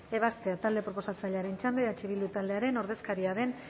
ebazpena talde proposatzailearen txanda eh bildu taldearen ordezkaria den